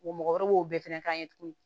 O mɔgɔkɔrɔbaw b'o bɛɛ fɛnɛ k'an ye tuguni